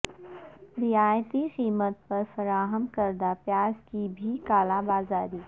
رعایتی قیمت پر فراہم کردہ پیاز کی بھی کالا بازاری